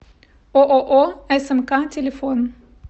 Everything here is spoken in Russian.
ооо смк телефон